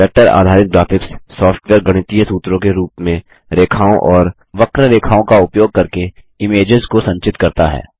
vector आधारित graphics software गणितीय सूत्रों के रूप में रेखाओं और वक्ररेखाओं का उपयोग करके इमेज़ेस को संचित करता है